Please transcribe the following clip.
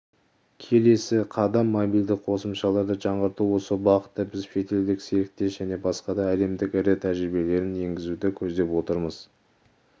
келесі қадам мобильдік қосымшаларды жаңғырту осы бағытта біз шетелдік серіктес және басқа да әлемдік ірі тәжірибелерін енгізуді көздеп отырмыз